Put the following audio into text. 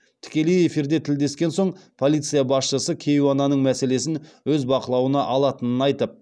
тікелей эфирде тілдескен соң полиция басшысы кейуананың мәселесін өз бақылауына алатынын айтып